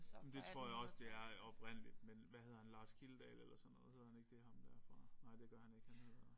Men det tror jeg også det er oprindeligt men hvad hedder han Lars Kildedal eller sådan noget hedder han ikke det ham der fra nej det gør han ikke han hedder